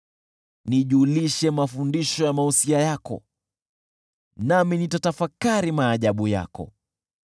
Nijulishe mafundisho ya mausia yako, nami nitatafakari maajabu yako.